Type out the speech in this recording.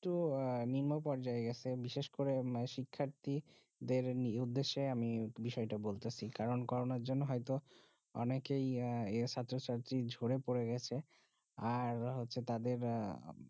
একটু আহ নিম্নপর্যজায়গেসে বিশেষ করে শিক্ষাটি দের উদ্দেশে আমি বিষয় তা বলতে চি কারণ কারোনার জন্য হয়েতো যে অনেক এ এর ছাত্র ছাত্রী ঝরে পরে গেছে আর হচ্ছে তাদের